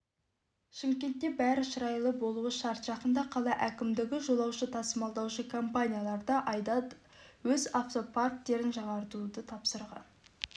шымкентте бәрі шырайлы болуы шарт жақында қала әкімдігі жолаушы тасымалдаушы компанияларға айда өз автопарктерін жаңартуды тапсырған